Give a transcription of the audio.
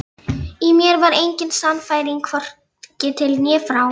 Í mér var engin sannfæring, hvorki til né frá.